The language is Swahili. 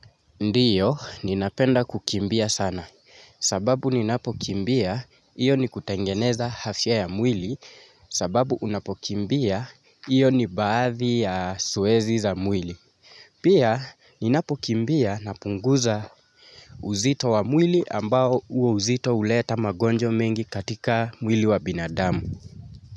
Ndiyo ninapenda kukimbia sana sababu ninapokimbia hiyo ni kutengeneza afya ya mwili sababu unapokimbia iyo ni baadhi ya zoezi za mwili. Pia ninapokimbia napunguza uzito wa mwili ambao huo uzito huleta magonjwa mengi katika mwili wa binadamu.